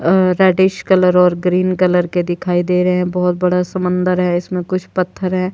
अअ reddish colour और green colour के दिखाई दे रहे हैं बहोत बड़ा समंदर है इसमें कुछ पत्थर है।